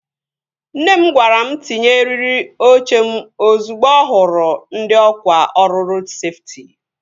Nne m gwara m tinye eriri oche m ozugbo ọ hụrụ ndị ọkwá ọrụ rodu seftị